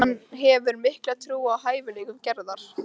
Gestgjafi okkar talar: stóryrti, óviðjafnanlegi plötusnúðurinn